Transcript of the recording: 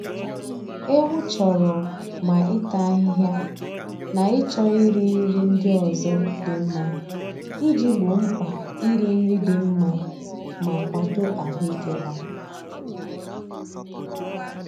Ewu chọrọ ma ịta ahịhịa na ịchọ iri nri ndi ọzọ dị mma iji gboo mkpa iri nri dị mma ma kwado ahụike ha.